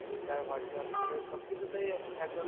Twitter, WhatsApp মানে সব কিছুতেই এখন ধরণের